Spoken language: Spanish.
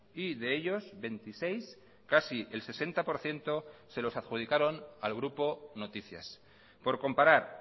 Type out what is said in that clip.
y de ellos veintiséis casi el sesenta por ciento se los adjudicaron al grupo noticias por comparar